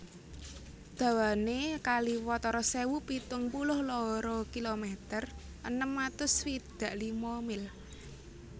Dawané kali watara sewu pitung puluh loro kilometer enem atus swidak lima mil